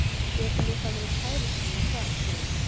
Getum við þá verið kærustupar þar spurði hún.